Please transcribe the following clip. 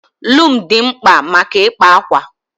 Lum dị mkpa maka ịkpa ákwà